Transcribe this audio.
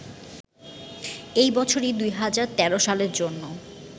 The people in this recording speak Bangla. এ বছরই ২০১৩ সালের জন্য